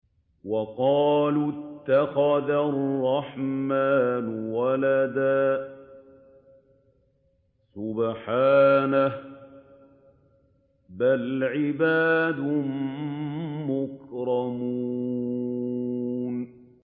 وَقَالُوا اتَّخَذَ الرَّحْمَٰنُ وَلَدًا ۗ سُبْحَانَهُ ۚ بَلْ عِبَادٌ مُّكْرَمُونَ